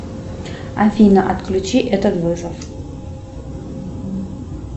афина отключи этот вызов